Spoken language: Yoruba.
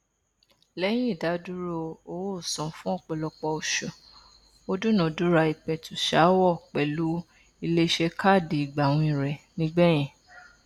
lẹyìn ìdádúró owóòsan fún ọpọlọpọ oṣù ó dúnadúrà ìpẹtùsááwọ pẹlú ilé iṣẹ káàdì ìgbàwìn rẹ nígbẹyìn